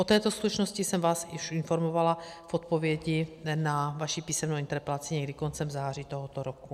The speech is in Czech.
O této skutečnosti jsem vás už informovala v odpovědi na vaši písemnou interpelaci někdy koncem září tohoto roku.